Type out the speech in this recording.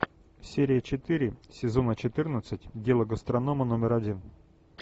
серия четыре сезона четырнадцать дело гастронома номер один